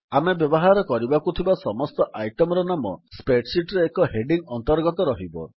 ଆମେ ବ୍ୟବହାର କରିବାକୁଥିବା ସମସ୍ତ ଆଇଟମ୍ ର ନାମ Spreadsheetରେ ଏହି ହେଡିଙ୍ଗ୍ ଅନ୍ତର୍ଗତ ରହିବ